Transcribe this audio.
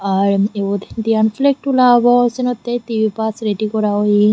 ar ebod diyan flag tula obow senottey dibey baaj ready gora oye.